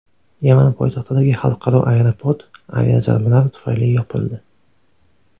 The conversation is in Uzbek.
Yaman poytaxtidagi xalqaro aeroport aviazarbalar tufayli yopildi.